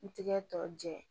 N tigɛ tɔ jɛ